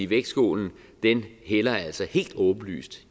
vægtskålen hælder altså helt åbenlyst